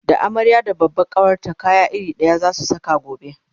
da amarya da babban kawarta kaya iri ɗaya zasu Saka gobe